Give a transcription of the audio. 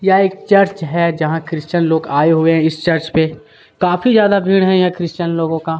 यहाँ एक चर्च है जहाँ क्रिस्चियन लोग आये हुए है इस चर्च में काफी जादा भीड़ है क्रिस्चियन लोगो का--